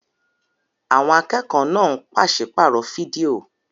Àwọn akẹ́kọ̀ọ́ náà ń pàṣípààrọ̀ fídíò.